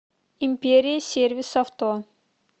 империя сервис авто